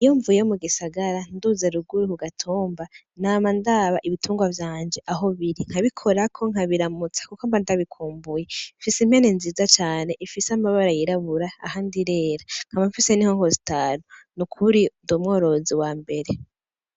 Iyo mvuye mugisagara nduze ruguru kugatumba nama ndaba ibiturwa vyanje aho biri nkabikorako nkabiramutsa kuko mba ndabikumbuye mfis impene nziza cane ifis'amabara yirabura ahandi irera nkaba mfise n' inkoko zitanu nukuri nd'umworozi wambere.